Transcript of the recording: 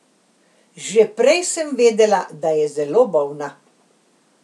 Že prej sem vedela, da je zelo bolna.